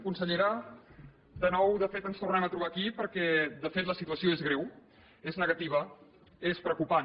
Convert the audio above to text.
consellera de nou de fet ens tornem a trobar aquí perquè de fet la situació és greu és negativa és preocupant